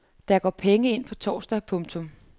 Der går penge ind på torsdag. punktum